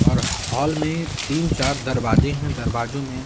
और हॉल में तीन-चार दरवाजे हैं दरवाजों में--